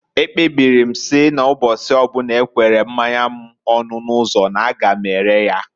Ekpebiri m na mbọsi ọbụna ekwere mmanya m ọnụ n'ụzọ n'a ga m ere ya.